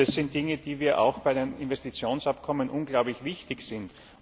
Und das sind Dinge, die uns eben auch bei den Investitionsabkommen unglaublich wichtig sind.